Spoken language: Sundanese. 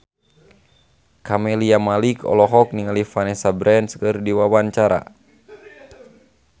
Camelia Malik olohok ningali Vanessa Branch keur diwawancara